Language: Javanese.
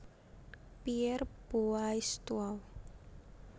Pierre Boaistuau